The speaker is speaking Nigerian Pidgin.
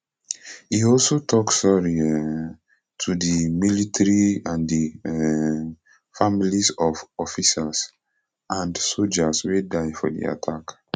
e also tok sorry um to di military and di um families of officers and sojas wey die for di attack